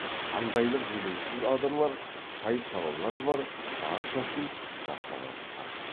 қандайлық елеусіз адырлар сай салалар бар баршасын жаттап алысқан